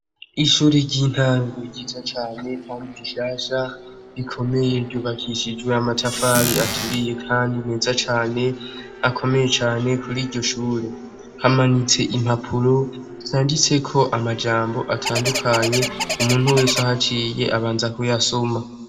Ishure ry'intango ryiza cane kandi rishasha, rikomeye, ryubakishijwe amatafari aturiye kandi meza cane, akomeye cane . Kur'iryo shure hamanitse impapuro zanditseko amajambo atandukanye umuntu wese ahaciye abanza kuyasoma.